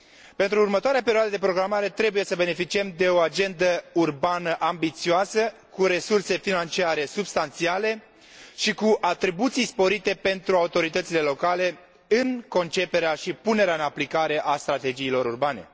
Pentru următoarea perioadă de programare, trebuie să beneficiem de o agendă urbană ambițioasă, cu resurse financiare substanțiale și cu atribuții sporite pentru autoritățile locale în conceperea și punerea în aplicare a strategiilor urbane.